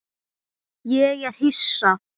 Ég er hissa.